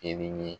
Kɛli ɲɛ